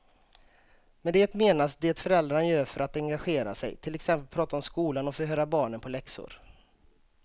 Med det menas det föräldrarna gör för att engagera sig, till exempel prata om skolan och förhöra barnen på läxor.